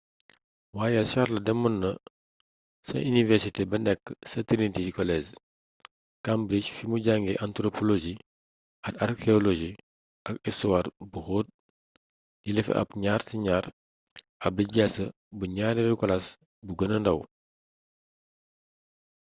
waaye charles demoon na ca iniwersité ba nekk ca trinity college cambridge fimu jàngee anthropologie ak archéologie ak istuwaar bu xóot jëlee fa ab 2:2 ab lijaasa bu ñaareelu kalaas bu gëna ndàw